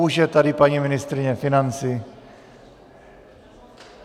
Už je tady paní ministryně financí!